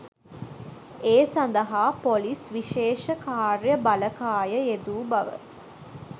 ඒ සදහා පොලිස් විශේෂ කාර්ය බළකාය යෙදු බව